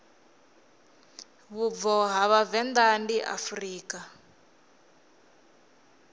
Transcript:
vhubvo ha vhavenḓa ndi afrika